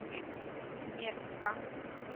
мекка